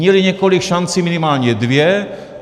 Měli několik šancí, minimálně dvě.